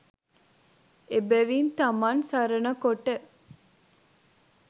එබැවින් තමන් සරණ කොට